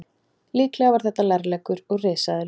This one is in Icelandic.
Líklega var þetta lærleggur úr risaeðlu.